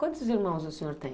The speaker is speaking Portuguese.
Quantos irmãos o senhor tem?